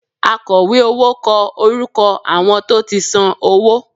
Àkọ̀wé owó kọ orúkọ àwọn tó ti san owó